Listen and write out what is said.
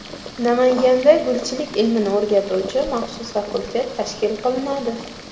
Namanganda gulchilik ilmini o‘rgatuvchi maxsus fakultet tashkil qilinadi.